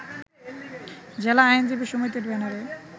জেলা আইনজীবী সমিতির ব্যানারে